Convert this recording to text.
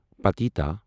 پٔتیٖتا